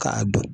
K'a don